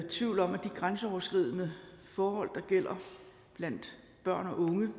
tvivl om at de grænseoverskridende forhold der gælder blandt børn og unge